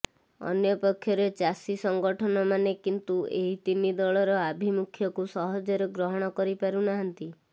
ଅନ୍ୟ ପକ୍ଷରେ ଚାଷୀ ସଂଗଠନମାନେ କିନ୍ତୁ ଏହି ତିନିଦଳର ଆଭିମୁଖ୍ୟକୁ ସହଜରେ ଗ୍ରହଣ କରିପାରୁନାହାନ୍ତି